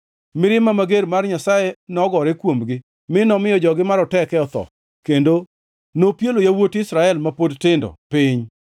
mirima mager mar Nyasaye nogore kuomgi, mi nomiyo jogi maroteke otho, kendo nopielo yawuot Israel ma pod tindo piny.